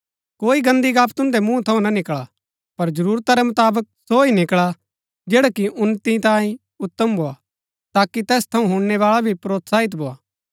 कोई गन्‍दी गप्‍प तुन्दै मुँहा थऊँ ना निकळा पर जरूरता रै मुताबक सो ही निकळा जैडा कि उन्‍नति तांई उत्तम भोआ ताकि तैस थऊँ हुणनैबाळा भी प्रोत्साहित भोआ